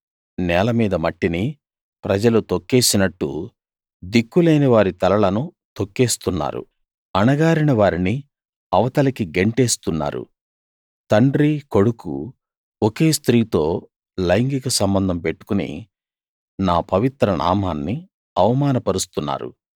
నేల మీద మట్టిని ప్రజలు తొక్కేసినట్టు దిక్కులేనివారి తలలను తొక్కేస్తున్నారు అణగారిన వారిని అవతలికి గెంటేస్తున్నారు తండ్రి కొడుకు ఒకే స్త్రీతో లైంగిక సంబంధం పెట్టుకుని నా పవిత్ర నామాన్ని అవమానపరుస్తున్నారు